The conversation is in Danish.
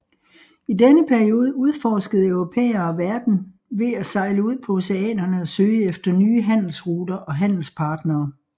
I denne periode udforskede europæere verden ved at sejle ud på oceanerne og søge efter nye handelsruter og handelspartnere